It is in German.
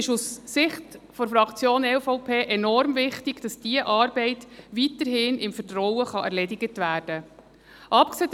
Aus Sicht der Fraktion EVP ist es enorm wichtig, dass diese Arbeit weiterhin im Vertrauen erledigt werden kann.